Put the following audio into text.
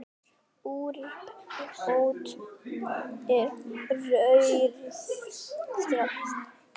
Úrbóta er þörf strax.